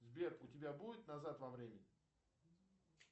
сбер у тебя будет назад во времени